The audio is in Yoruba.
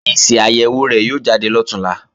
Èsì àyèwò rẹ̀ yóò jáde lọ̀túnla